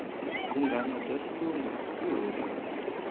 vunanga bya xilungu byi horile